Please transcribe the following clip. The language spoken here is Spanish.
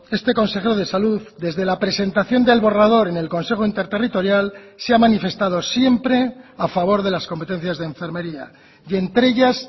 este consejero de salud desde la presentación del borrador en el consejo interterritorial se ha manifestado siempre a favor de las competencias de enfermería y entre ellas